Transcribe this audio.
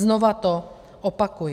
Znovu to opakuji.